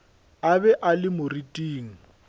a be a le moriting